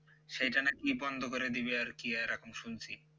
সেইটা নাকি বন্ধ করে দিবে আর কি আর এখন শুনছি